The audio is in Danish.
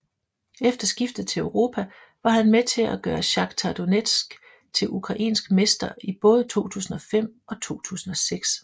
Efter skiftet til Europa var han med til at gøre Shakhtar Donetsk til ukrainsk mester i både 2005 og 2006